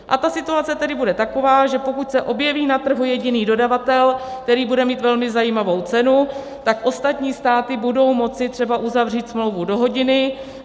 A ta situace tedy bude taková, že pokud se objeví na trhu jediný dodavatel, který bude mít velmi zajímavou cenu, tak ostatní státy budou moci třeba uzavřít smlouvu do hodiny.